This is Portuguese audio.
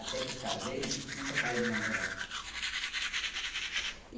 Até que casei, nunca parei de namorar. E